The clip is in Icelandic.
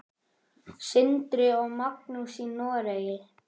Sindri og Magnús í Noregi.